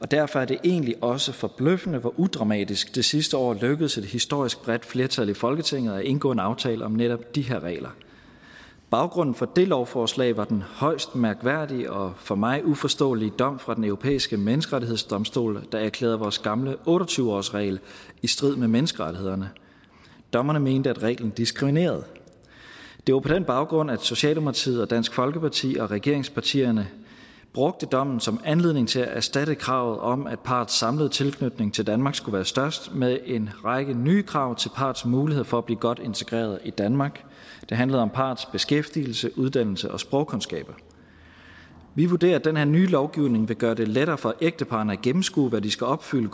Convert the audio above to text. derfor er det egentlig også forbløffende hvor udramatisk det sidste år lykkedes et historisk bredt flertal i folketinget at indgå en aftale om netop de her regler baggrunden for det lovforslag var den højst mærkværdige og for mig uforståelige dom fra den europæiske menneskerettighedsdomstol der erklærede vores gamle otte og tyve årsregel i strid med menneskerettighederne dommerne mente at reglen diskriminerede det var på den baggrund at socialdemokratiet og dansk folkeparti og regeringspartierne brugte dommen som anledning til at erstatte kravet om at parrets samlede tilknytning til danmark skulle være størst med en række nye krav til parrets mulighed for at blive godt integreret i danmark det handler om parrets beskæftigelse uddannelse og sprogkundskaber vi vurderer at den her nye lovgivning vil gøre det lettere for ægteparrene at gennemskue hvad de skal opfylde